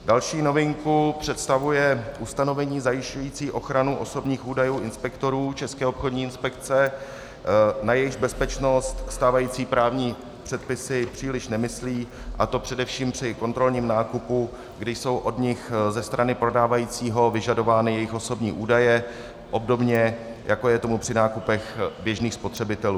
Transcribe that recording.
Další novinku představuje ustanovení zajišťující ochranu osobních údajů inspektorů České obchodní inspekce, na jejichž bezpečnost stávající právní předpisy příliš nemyslí, a to především při kontrolním nákupu, kdy jsou od nich ze strany prodávajícího vyžadovány jejich osobní údaje obdobně, jako je tomu při nákupech běžných spotřebitelů.